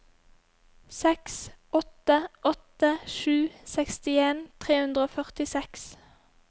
seks åtte åtte sju sekstien tre hundre og førtiseks